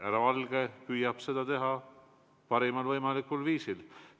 Härra Valge püüab seda teha parimal võimalikul viisil.